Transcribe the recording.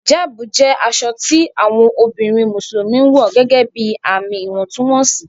Hijabu jẹ aṣọ tí awọn obìnrin Musulumi ǹwọ̀ gẹ́gẹ́bí ààmì ìwọ̀ntúnwọnsì